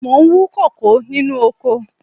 Mo ń wú kókò nínú oko